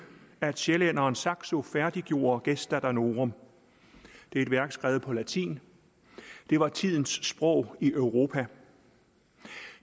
at sjællænderen saxo færdiggjorde gesta danorum det er et værk skrevet på latin det var tidens sprog i europa